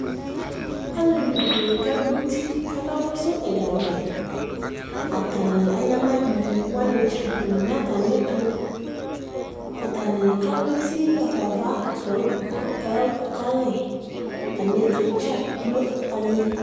Alevidini kagbɔ uti ku akafusu ɛga vɛ Atani anyama ivi wani dza du nu atamietu Atani kalu eti ɣafa ava kayɔku kalɛ Atami ɛtu dza gblo alili